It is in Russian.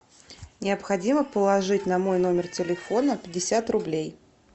необходимо положить на мой номер телефона пятьдесят рублей